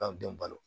An denw balo